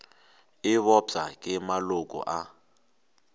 e bopša ke maloko a